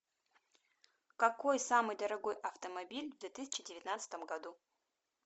какой самый дорогой автомобиль в две тысяча девятнадцатом году